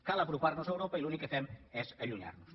cal apropar nos a europa i l’únic que fem és allunyar nos en